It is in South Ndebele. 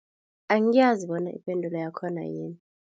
Angiyazi bona ipendulo yakhona yini.